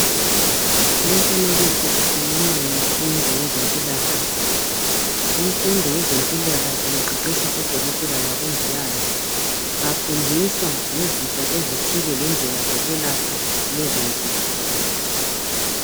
Umfanekiso ukhuluma ngemfundo yezempilakahle. Kumfundo yezempilakahle kuqeqetsha odokotela labomongikazi. Bafundiswa ngezifo ezithile lendlela zokwelapha lezo zifo.